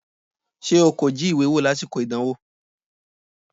Ṣé o kò jí ìwé wò lásìkò ìdánwò?